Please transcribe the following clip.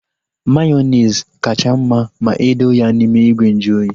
Mayonezi kacha mma ma edo ya n'ime ìgwè nju oyi